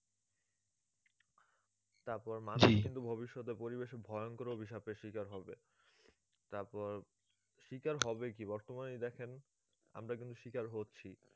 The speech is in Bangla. তারপর মানুষ কিন্তু ভবিষ্যতে পরিবেশের ভয়ংকর অভিশাপের শিকার হবে তারপর শিকার হবে কি বর্তমানে দেখেন আমরা কিন্তু শিকার হচ্ছি